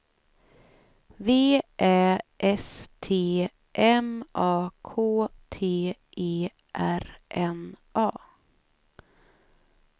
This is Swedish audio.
V Ä S T M A K T E R N A